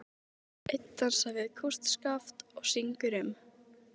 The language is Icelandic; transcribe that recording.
Einn dansar við kústskaft og syngur um